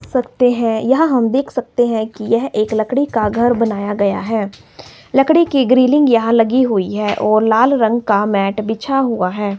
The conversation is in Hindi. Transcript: सकते हैं यहां हम देख सकते हैं कि यह एक लकड़ी का घर बनाया गया है लकड़ी की ग्रिलिंग यहां लगी हुई है और लाल रंग का मैट बिछा हुआ है।